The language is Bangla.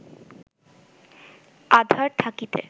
আঁধার থাকিতে